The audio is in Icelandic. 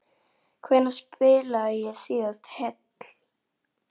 Hvenær spilaði ég síðast heill?